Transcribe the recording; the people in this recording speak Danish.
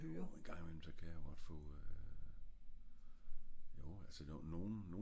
jo en gang i mellem kan jeg godt få øh